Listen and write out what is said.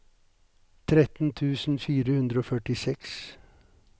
tretten tusen fire hundre og førtiseks